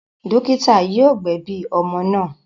Dọ́kítá yóò gbẹ̀bi ọmọ náà.